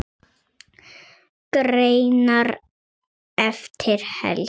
Greinar eftir Helga